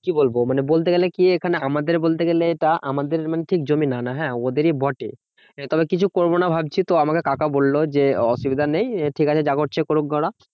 কি বলবো মানে বলতে গেলে কি এখানে আমাদের বলতে গেলে এটা আমাদের মানে ঠিক জমি না ওটা হ্যাঁ? ওদেরই বটে। তবে কিছু করবোনা ভাবছি তো আমাকে কাকা বললো যে, অসুবিধা নেই ঠিকাছে যা করছে কোরুকগে ওরা